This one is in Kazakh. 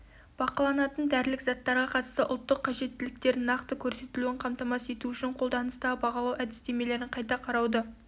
бақыланатын дәрілік заттарға қатысты ұлттық қажеттіліктердің нақты көрсетілуін қамтамасыз ету үшін қолданыстағы бағалау әдістемелерін қайта қарауды